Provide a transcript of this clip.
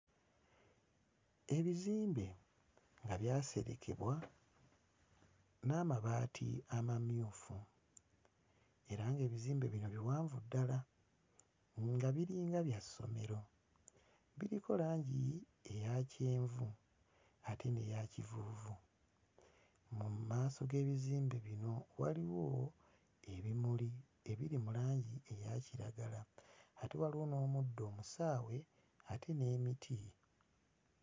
Ebizimbe nga byaserekebwa n'amabaati amamyufu, era ng'ebizimbe bino biwanvu ddala nga biringa bya ssomero, biriko langi eya kyenvu ate n'eya kivuuvu, mu maaso g'ebizimbe bino waliwo ebimuli ebiri mu langi eya kiragala ate waliwo n'omuddo omusaawe ate n'emiti.